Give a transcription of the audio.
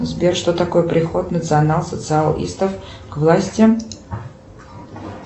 сбер что такое приход национал социалистов к власти